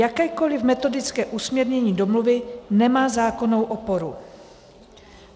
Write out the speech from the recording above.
Jakékoliv metodické usměrnění domluvy nemá zákonnou oporu.